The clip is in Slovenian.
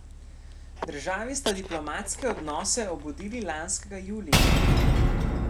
Državi sta diplomatske odnose obudili lanskega julija.